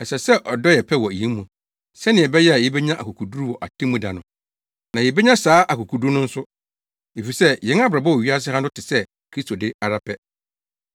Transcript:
Ɛsɛ sɛ ɔdɔ yɛ pɛ wɔ yɛn mu, sɛnea ɛbɛyɛ a yebenya akokoduru wɔ atemmu da no. Na yebenya saa akokoduru no nso, efisɛ yɛn abrabɔ wɔ wiase ha no te sɛ Kristo de ara pɛ.